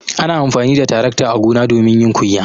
Ana amfani da tarakta a gona domin yin kunya.